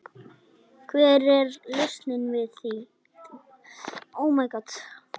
Hver er lausnin við því?